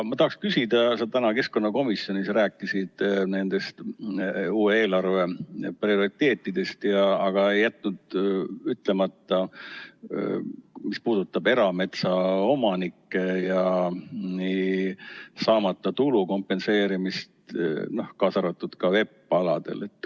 Aga sa täna keskkonnakomisjonis rääkisid uue eelarve prioriteetidest ega jätnud ütlemata seda, mis puudutab erametsaomanikke ja saamata tulu kompenseerimist, kaasa arvatud VEP‑aladel.